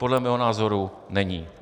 Podle mého názoru není.